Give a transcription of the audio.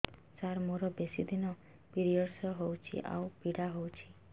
ସାର ମୋର ବେଶୀ ଦିନ ପିରୀଅଡ଼ସ ହଉଚି ଆଉ ପୀଡା ହଉଚି